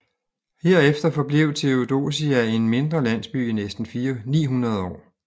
Herefter forblev Theodosia en mindre landsby i næsten 900 år